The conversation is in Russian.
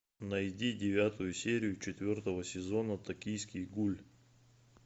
найди девятую серию четвертого сезона токийский гуль